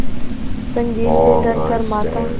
संगीन पे धर कर माथा